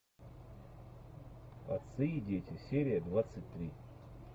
отцы и дети серия двадцать три